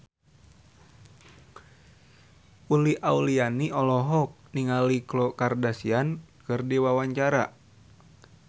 Uli Auliani olohok ningali Khloe Kardashian keur diwawancara